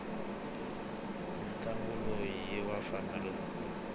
ntlangu lowu iwavafana votsutsuma